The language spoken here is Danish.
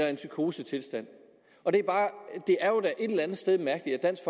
i en psykosetilstand det er jo da et eller andet sted mærkeligt at dansk